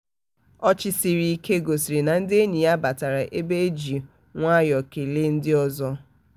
ọchị sịrị ike gosiri na ndị enyi ya batara ebe e ji nwayọ kelee ndị ọzọ.